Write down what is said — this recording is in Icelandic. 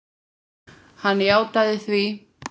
Hann játaði því.